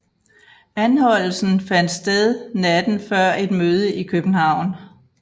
Anholdelsen fandt sted natten før et møde i København